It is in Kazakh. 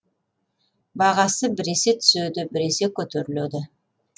баға біресе түседі біресе көтеріледі